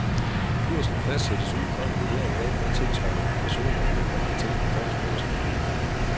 Kursen fastsættes ud fra en vurdering af, hvad tilsvarende obligationer er blevet handlet til på fondsbørsen?